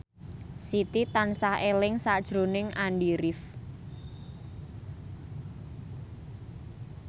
Siti tansah eling sakjroning Andy rif